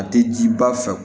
A tɛ jiba fɛ